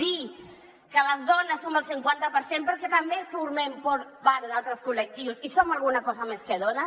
dir que les dones som el cinquanta per cent però que també formem part d’altres col·lectius i som alguna cosa més que dones